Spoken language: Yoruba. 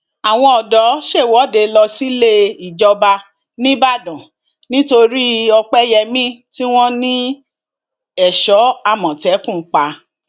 àwọn ọdọ ṣèwọde lọ síléejọba nìbàdàn nítorí ọpẹyẹmí tí wọn ní èso àmọtẹkùn pa